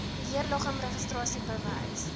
beheerliggaam registrasie bewys